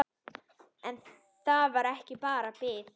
En þetta var bara bið.